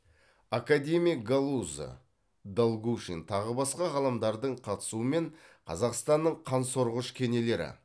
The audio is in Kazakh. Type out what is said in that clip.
академик галузо долгушин тағы басқа ғалымдардың қатысуымен қазақстанның қансорғыш кенелері